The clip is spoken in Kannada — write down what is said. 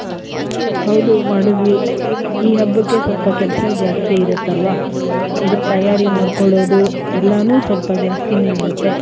ಹೌದು ಮಾಡುದ್ವಿ. ಈ ಹಬ್ಬಕ್ಕೆ ಸ್ವಲ್ಪ ಕೆಲ್ಸ ಜಾಸ್ತಿ ಇರುತ್ತೆ ಅಲ್ವ. ಇದಕ್ ತಯಾರಿ ಮಾಡ್ಕೊಳೋದು ಎಲ್ಲಾನು ಸ್ವಲ್ಪ ಜಾಸ್ತಿನೇ ಇರುತ್ತೆ.